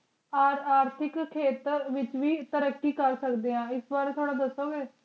ਖ਼ਾਸ ਖ਼ਾਸ ਕੁਝ ਖੇਤਰਾਂ ਵਿਚ ਵੀ ਤਰੱਕੀ ਕਰ ਸਕਦੀਆਂ ਹਨ ਏਸ ਬਾਰੇ ਥੋਰਾ ਦਸੋ ਗੇ